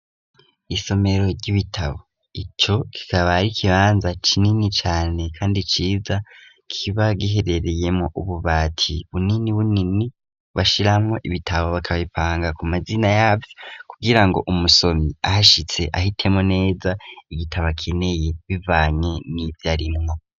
Isomero ry'ibitabo ico kikaba ari ikibanza kinini cane kandi ciza kiba giherereyemwo ububati bunini bunini bashiramo ibitabo bakabipanga ku mazina yavyo kugira ngo umusomyi ahashitse ahitemwo neza igitabo akeneye bivanye n'ivyarimwo.